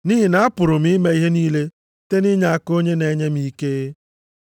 Nʼihi na apụrụ m ime ihe niile site nʼinyeaka onye na-enye m ike.